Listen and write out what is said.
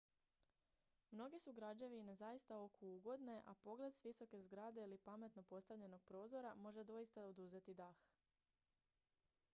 mnoge su građevine zaista oku ugodne a pogled s visoke zgrade ili pametno postavljenog prozora može doista oduzeti dah